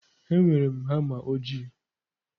Enwere m hama ojii.